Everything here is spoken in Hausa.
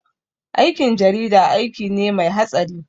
Aikin jarida aiki ne mai hatsari